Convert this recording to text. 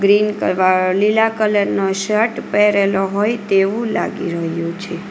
Green colour લીલા colour નો shirt પહેરેલો હોય તેવું લાગી રહ્યું છે.